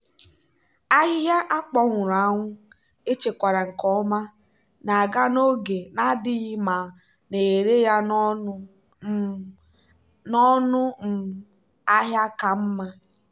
ahịhịa akpọnwụrụ anwụ echekwara nke ọma na-aga n'oge na-adịghị ma na-ere ya n'ọnụ um ahịa ka mma.